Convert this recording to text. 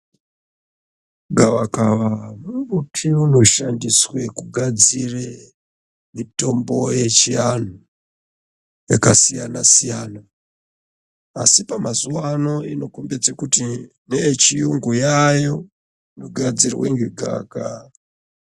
Gavakava mumbuti unoshandiswe kugadzire mitombo yechianhu yakasiyanasiyana asi pamazuwa ano inokombedze kuti neyechiyungu yayo inogadzirwa ngegavakava.